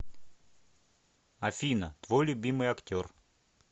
афина твой любимый актер